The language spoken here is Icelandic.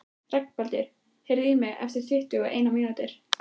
Reginbaldur, heyrðu í mér eftir tuttugu og eina mínútur.